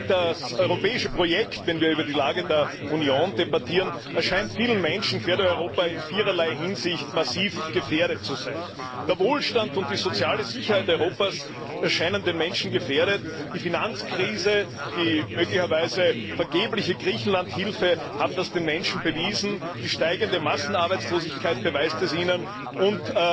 Das europäische Projekt wenn wir über die Lage der Union debattieren erscheint vielen Menschen quer durch Europa in viererlei Hinsicht massiv gefährdet zu sein Der Wohlstand und die soziale Sicherheit Europas erscheinen den Menschen gefährdet, die Finanzkrise und die möglicherweise vergebliche Griechenlandhilfe haben das den Menschen bewiesen, die steigende Massenarbeitslosigkeit beweist es ihnen, und